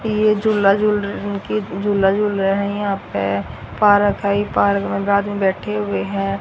ये झूला झूल र उनकी झूला झूल रहे हैं यहां पे पारक है इ पार्क में एक बैठे हुए हैं।